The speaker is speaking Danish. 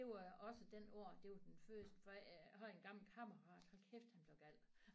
Det var også den år det var den første for jeg har en gammel kammerat hold kæft han blev gal